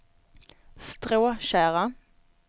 Stråtjära